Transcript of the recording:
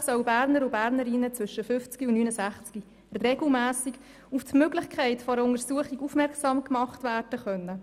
Grundsätzlich sollen Bernerinnen und Berner zwischen dem 50. und 69. Lebensjahr regelmässig auf die Möglichkeit einer Untersuchung aufmerksam gemacht werden können.